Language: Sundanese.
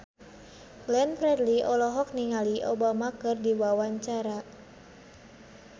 Glenn Fredly olohok ningali Obama keur diwawancara